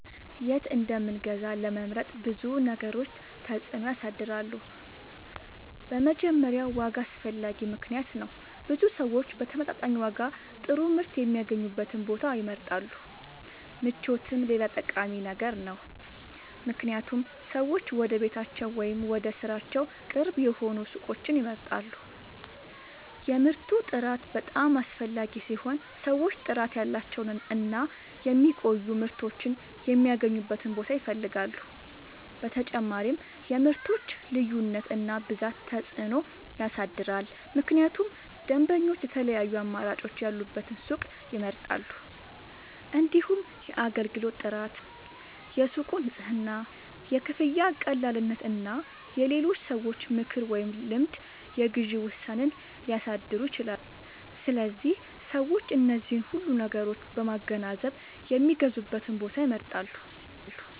የት እንደምንገዛ ለመምረጥ ብዙ ነገሮች ተጽዕኖ ያሳድራሉ። በመጀመሪያ ዋጋ አስፈላጊ ምክንያት ነው፤ ብዙ ሰዎች በተመጣጣኝ ዋጋ ጥሩ ምርት የሚያገኙበትን ቦታ ይመርጣሉ። ምቾትም ሌላ ጠቃሚ ነገር ነው፣ ምክንያቱም ሰዎች ወደ ቤታቸው ወይም ወደ ሥራቸው ቅርብ የሆኑ ሱቆችን ይመርጣሉ። የምርቱ ጥራት በጣም አስፈላጊ ሲሆን ሰዎች ጥራት ያላቸውን እና የሚቆዩ ምርቶችን የሚያገኙበትን ቦታ ይፈልጋሉ። በተጨማሪም የምርቶች ልዩነት እና ብዛት ተጽዕኖ ያሳድራል፣ ምክንያቱም ደንበኞች የተለያዩ አማራጮች ያሉበትን ሱቅ ይመርጣሉ። እንዲሁም የአገልግሎት ጥራት፣ የሱቁ ንጽህና፣ የክፍያ ቀላልነት እና የሌሎች ሰዎች ምክር ወይም ልምድ የግዢ ውሳኔን ሊያሳድሩ ይችላሉ። ስለዚህ ሰዎች እነዚህን ሁሉ ነገሮች በማገናዘብ የሚገዙበትን ቦታ ይመርጣሉ።